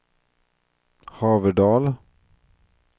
Haverdal